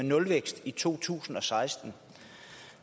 nulvækst i to tusind og seksten